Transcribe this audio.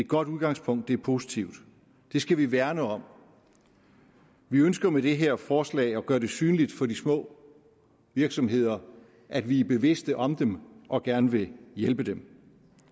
godt udgangspunkt det er positivt og det skal vi værne om vi ønsker med det her forslag at gøre det synligt for de små virksomheder at vi er bevidste om dem og gerne vil hjælpe dem